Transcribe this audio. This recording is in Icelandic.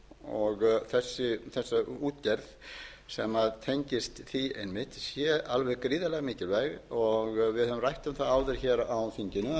og þessa útgerð sem tengist því einmitt sé alveg gríðarlega mikilvæg við höfum rætt um það áður hér á þinginu